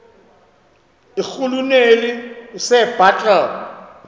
irhuluneli usir bartle